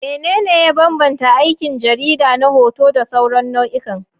Menene ya bambanta aikin jarida na hoto da sauran nau'ikan?